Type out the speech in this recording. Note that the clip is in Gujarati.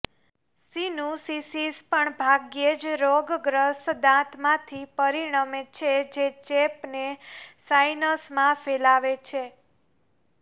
સિનુસિસિસ પણ ભાગ્યે જ રોગગ્રસ્ત દાંતમાંથી પરિણમે છે જે ચેપને સાઇનસમાં ફેલાવે છે